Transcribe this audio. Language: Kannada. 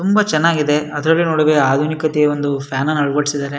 ತುಂಬ ಚೆನ್ನಾಗಿದೆ ಅದ್ರಲ್ಲಿ ನೋಡಿದ್ರೆ ಆಧುನಿಕತೆಯ ಒಂದು ಫ್ಯಾನ್ ಅನ್ನು ಅಳವಡಿಸಿದ್ದಾರೆ.